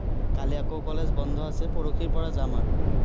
কালি আকৌ college বন্ধ আছে, পৰহিৰ পৰা যাম আৰু।